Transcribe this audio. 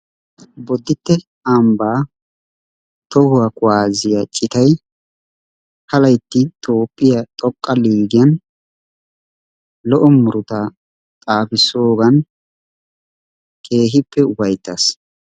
Boditte ambba tohuwaa kuwaasiyaa ciittay ha laytti toophphiyaa xooqqa liigiyan lo"o murutaa xaafissoogan keehippe ufayttaas.